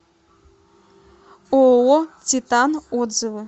ооо титан отзывы